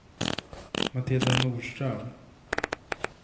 Matilda Norström